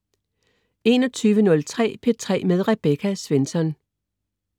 21.03 P3 med Rebecca Svensson